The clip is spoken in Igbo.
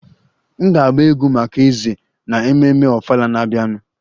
M ga-agba egwú maka eze na ememme ofala na-abịanụ